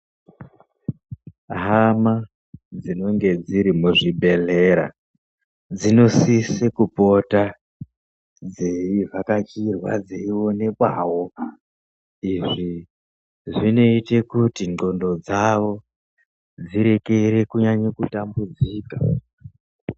Hama dzinenge dziri muzvibhedhlera dzinosise kupota dzeivhakachirwa dzeionekwawo, izvi zvinoite kuti ndxondo dzavo dzirekere kunyanye kutambudzika.